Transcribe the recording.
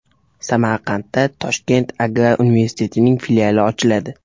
Samarqandda Toshkent agrar universitetining filiali ochiladi.